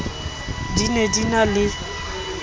di ne di na le